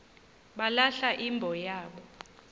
balahla imbo yabo